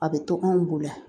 A bɛ tɔ anw bolo yan